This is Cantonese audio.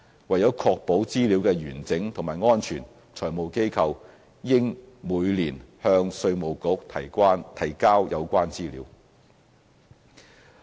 為確保資料的完整及安全，財務機構應每年向稅務局提交有關資料。